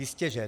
Jistěže.